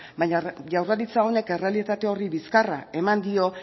baina jaurlaritza honek errealitate horri bizkarra eman dio